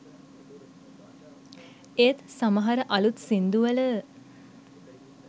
ඒත් සමහර අළුත් සින්දු වල